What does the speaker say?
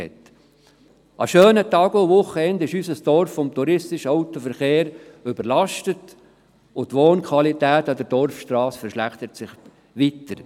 An schönen Tagen und Wochenenden ist unser Dorf mit dem touristischen Autoverkehr überlastet, und die Wohnqualität an der Dorfstrasse verschlechtert sich weiter.